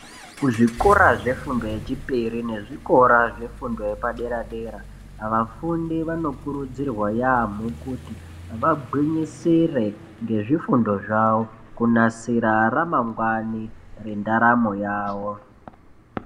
Kuzvikora zvefundo yechipiri nezvikora zvefundo yepadera-dera, vafundi vanokurudzirwa yaamho kuti vagwinyisire ngezvifundo zvavo, kunasira ramangwani rendaramo yavo.